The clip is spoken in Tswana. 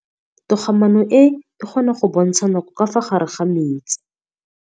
Toga-maanô e, e kgona go bontsha nakô ka fa gare ga metsi.